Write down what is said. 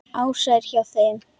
Ása er hjá þeim.